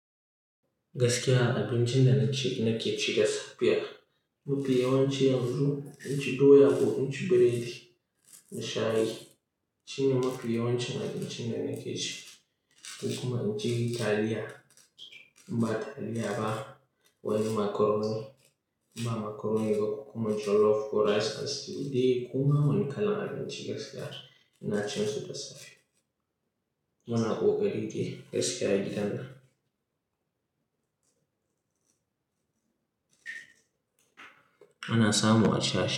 Gaskiya abinci da na ci na ke ci da safiya Mafi yawanci yanzu inci doya ko inci biredi da shayi. Shine mafi yawanci abincin da na ke ci. Kuma inci taliya, ba taliya ba, wani macaroni, in ba macaroni ba kuma jollof ko rice and stew. Ko ma wani kalan abinci gaskiya ina cin su da safe. Muna ƙoƙari ke gaskiya gidana. Ana samu a sha.